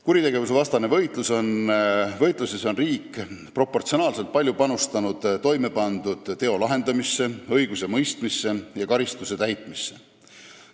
Kuritegevusvastases võitluses on riik proportsionaalselt palju panustanud toimepandud teo lahendamisse, õigusemõistmisse ja karistuse täitmisse.